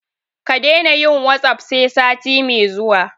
Ka daina yin "WhatsApp" sai sati mai zuwa.